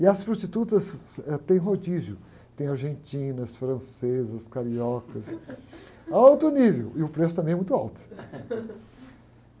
E as prostitutas, eh, têm rodízio, tem argentinas, francesas, cariocas, a alto nível, e o preço também é muito alto.